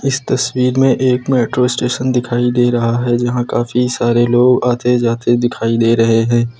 इस तस्वीर में एक मेट्रो स्टेशन दिखाई दे रहा है जहां काफी सारे लोग आते जाते दिखाई दे रहे हैं।